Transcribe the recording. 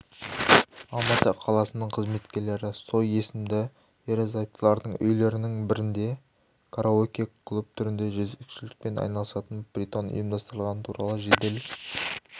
алматы қаласының қызметкерлері цой есімді ерлі-зайыптылардың үйлерінің бірінде караоке-клуб түрінде жезөкшелікпен айналысатын притон ұйымдастырғаны туралы жедел